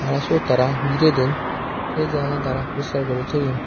tara sot tara gire don se jagan tara puriskar guri toyon.